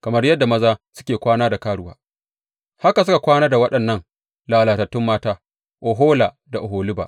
Kamar yadda maza suke kwana ta karuwa, haka suka kwana da waɗannan lalatattun mata, Ohola da Oholiba.